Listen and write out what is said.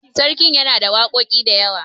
sarkin yana da waƙoƙi da yawa